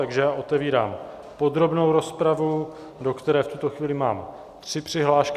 Takže já otevírám podrobnou rozpravu, do které v tuto chvíli mám tři přihlášky.